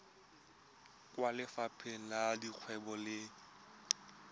kwa lefapheng la dikgwebo le